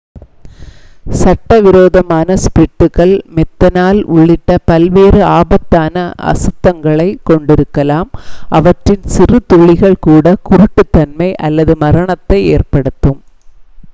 சட்டவிரோதமான ஸ்பிரிட்டுகள் மெத்தனால் உள்ளிட்ட பல்வேறு ஆபத்தான அசுத்தங்களைக் கொண்டிருக்கலாம் அவற்றின் சிறு துளிகள் கூட குருட்டுத்தன்மை அல்லது மரணத்தை ஏற்படுத்தும்